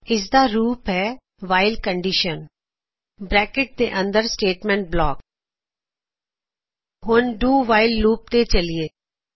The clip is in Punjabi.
ਇਸ ਦਾ ਰੂਪ ਹੈ ਵਾਇਲ ਬ੍ਰੈਕਿਟ ਵਿੱਚ ਕੰਡੀਸ਼ਨ ਬਰੈਕਟ ਦੇ ਅੰਦਰ ਸਟੇਟਮੈਂਟ ਬਲਾਕ ਹੁਣ ਡੂ ਵਾਇਲ ਲੂਪdoਵਾਈਲ ਲੂਪ ਤੇ ਚੱਲਿਏ